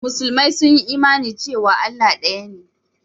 Musulmi sun yi imani cewa Allah ɗaya ne.